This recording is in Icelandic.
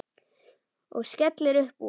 Og skellir upp úr.